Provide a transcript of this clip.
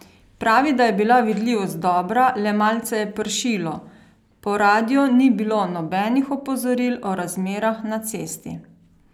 Pravi, da je bila vidljivost dobra, le malce je pršilo: 'Po radiu ni bilo nobenih opozoril o razmerah na cesti.